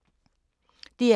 DR K